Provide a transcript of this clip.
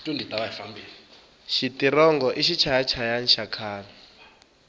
xitirongo i xichaya hayani xa khale